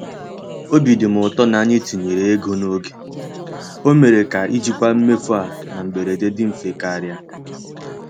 Obi dị m ụtọ na anyị tinyere ego n'oge—o mere ka ijikwa mmefu a na mberede dị mfe karị.